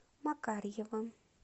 макарьевым